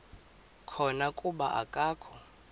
khona kuba akakho